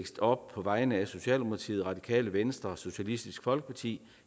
op på vegne af socialdemokratiet radikale venstre socialistisk folkeparti